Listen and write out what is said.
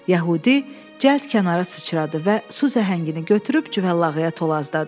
Yəhudi cəld kənara sıçradı və su zəhəngini götürüb cüvəllağıya tulladı.